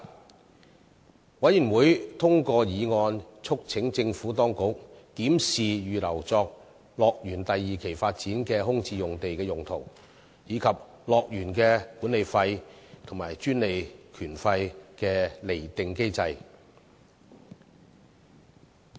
事務委員會通過議案，促請政府當局檢視預留作樂園第二期發展的空置用地的用途，以及樂園的管理費和專利權費的釐定機制。